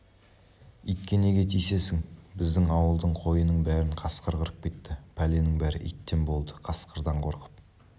итке неге тиісесің біздің ауылдың қойының бәрін қасқыр қырып кетті пәленің бәрі иттен болды қасқырдан қорқып